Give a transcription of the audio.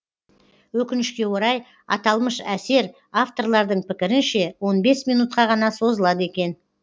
өкінішке орай аталмыш әсер авторлардың пікірінше он бес минутқа ғана созылады екен